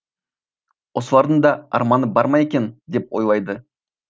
осылардың да арманы бар ма екен деп ойлайды